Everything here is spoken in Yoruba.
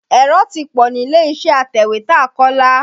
Èrò ti pọ̀ nílé-iṣẹ́ atẹ̀wétà Kọ́lá.